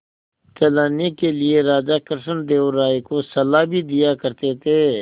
चलाने के लिए राजा कृष्णदेव राय को सलाह भी दिया करते थे